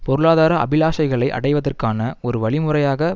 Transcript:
பொருளாதார அபிலாஷைகளை அடைவதற்கான ஒரு வழிமுறையாக